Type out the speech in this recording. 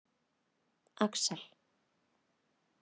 Axel